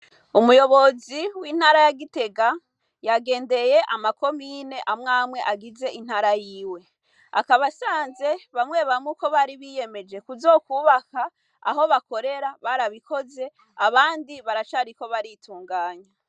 Umuyobozi w'intara yagitega yagendeye amakomine amwamwe agize intara yiwe, akabasanze bamwebamwe uko bari biyemeje kuzokwubaka aho bakorera barabikoze abandi baracariko baritunganya.